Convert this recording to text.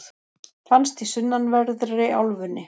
finnst í sunnanverðri álfunni